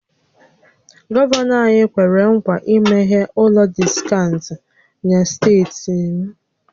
Gọvanọ anyị kwere ńkwà imeghe ụlọ diskaụnt na steeti m